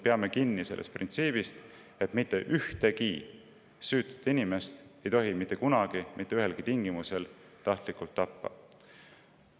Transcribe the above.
Peame kinni sellest printsiibist, et mitte ühtegi süütut inimest ei tohi mitte kunagi mitte ühelgi tingimusel tahtlikult tappa.